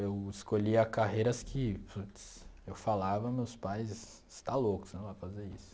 Eu escolhi a carreiras que puts... Eu falava, meus pais, você está louco, você não vai fazer isso.